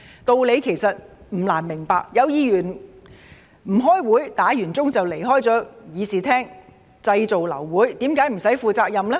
道理其實不難明白，有議員不開會，響鐘後便離開議事廳，製造流會，為何無須負責任呢？